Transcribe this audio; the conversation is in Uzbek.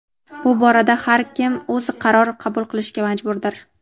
Bu borada har kim o‘zi qaror qabul qilishga majburdir.